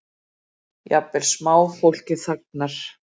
Jafnvel smáfólkið þagnar.